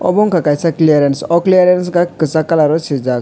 bo ungkha kaisa clearance oh clearance ungkha kwchak colour oh swijak.